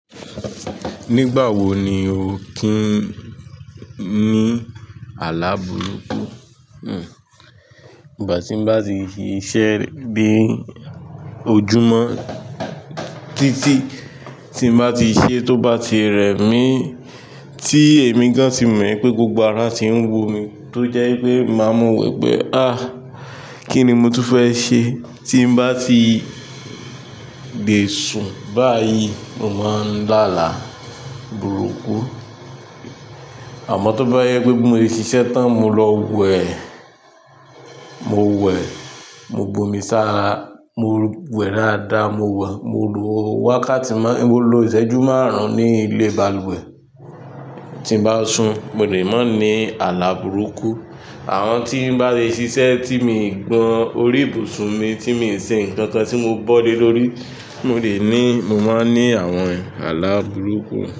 Nígbà wo ni o ti ń ní àlá burúkú? Hmm. Ìgbà tí n bá ti ṣe iṣẹ́ dé ojúmọ́, títí tí n bá ti ṣe tó bá ti rẹ mí, tí èmi gan tí mọ̀ pé gbogbo ara ti ń wo mi, tó jẹ́ ipé máa mọ̀ wípé, "àh! Kí ni mo tú fẹ́ ṣe?" Tí n bá ti gbèsùn báyìí, mo máa ń dá àlá burúkú. Àmọ́ tó bá jẹ́ pé bí mo ṣe ṣiṣẹ́ tán, mo lọ wẹ̀, mo wẹ̀, mo bu omi sára, mo wẹ̀ dáadáa, mo wẹ̀, mo lo wákàtí mọ́, mo lo ìṣẹ́jú márùn-ún ní ilé balùwẹ̀. Tí n bá sun, mo lè má ní àlá burúkú. Àwọ tí n bá le ṣiṣẹ́ tí mi gbọn orí ibùsùn mi, tí mi ṣe nǹkan kan tí mo bọ́ lé lórí, tí mo dè ní, mo máa ń ní àwọn àlá burúkú.